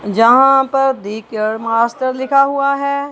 जहां पर the care master लिखा हुआ है।